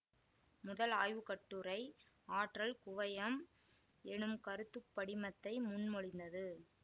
முதல் ஆய்வு கட்டுரை ஆற்றல் குவையம் எனும் கருத்து படிமத்தை முன்மொழிந்தது